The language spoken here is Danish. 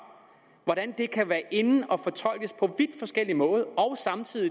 og fortolkes på vidt forskellig måde og